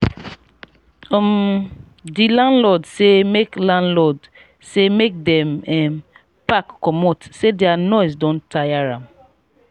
um di landlord sey make landlord sey make dem um pack comot sey their noise don tire am.